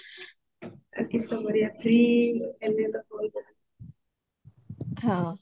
କିସ କରିବା free ହେଲେ ତ call କଥା